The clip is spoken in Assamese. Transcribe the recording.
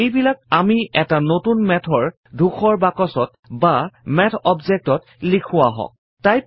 এই বিলাক আমি এটা নতুন Math ৰ ধূসৰ বাকছত বা মাথ object ত লিখো আহক